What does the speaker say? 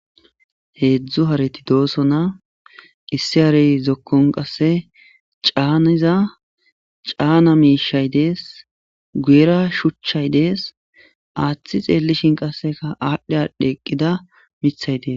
Heedzdzu hareti de'osona issi hare zokon qase caniza cana miishshay des guyera shuchay des aathi xelishe qaseka adhi adhi eqida mithay des.